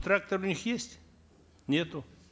трактор у них есть нету